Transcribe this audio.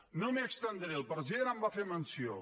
no m’hi estendré el president en va fer menció